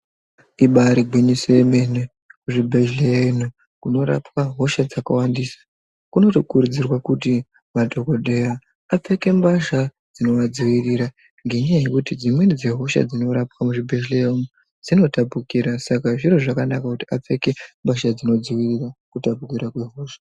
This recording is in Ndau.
Ibaari gwinyiso remene, zvibhedhlera kunorapwa hosha dzakawandisa kunotokurudzirwa kuti madhokodheya apfeke mbasha dzinodzivirira ngenyaya yekuti dzimweni dzehosha dzinorapwa kuzvibhedhlera dzinotapukira, saka zviro zvakanaka kuti apfeke mbasha dzinodzivirira kutapukira kwehosha.